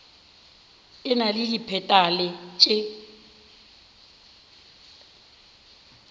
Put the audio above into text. e na le dipetale tše